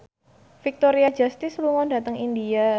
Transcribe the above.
Victoria Justice lunga dhateng India